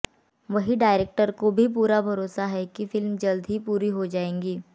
वहीं डायरेक्टर को भी पूरा भरोसा है कि फिल्म जल्द ही पूरी हो जाएगी